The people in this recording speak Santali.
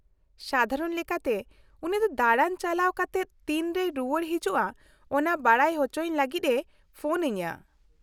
-ᱥᱟᱫᱷᱟᱨᱚᱱ ᱞᱮᱠᱟᱛᱮ ᱩᱱᱤ ᱫᱚ ᱫᱟᱲᱟᱱ ᱪᱟᱞᱟᱣ ᱠᱟᱛᱮᱫ ᱛᱤᱱᱨᱮᱭ ᱨᱩᱣᱟᱹᱲ ᱦᱤᱡᱩᱜᱼᱟ ᱚᱱᱟ ᱵᱟᱰᱟᱭ ᱚᱪᱚᱭᱤᱧ ᱞᱟᱹᱜᱤᱫ ᱮ ᱯᱷᱳᱱ ᱟᱹᱧᱟᱹ ᱾